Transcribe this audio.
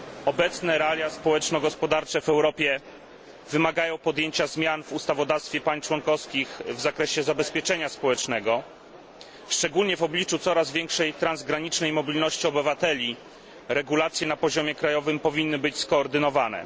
Obecne realia społeczno gospodarcze w Europie wymagają podjęcia zmian w ustawodawstwie państw członkowskich w zakresie zabezpieczenia społecznego. Szczególnie w obliczu coraz większej transgranicznej mobilności obywateli regulacje na poziomie krajowym powinny być skoordynowane.